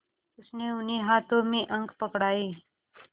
उसने उन्हें हाथों में अंक पकड़ाए